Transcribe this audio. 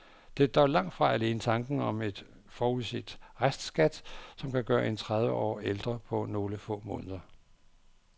Det er dog langt fra alene tanken om en uforudset restskat, som kan gøre en tredive år ældre på nogle få måneder.